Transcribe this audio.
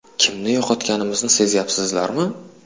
Kimni yo‘qotganimizni sezyapsizlarmi?